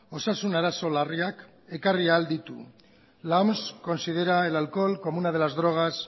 osasun arazo larriak ekarri ahal ditu la oms considera el alcohol como una de las drogas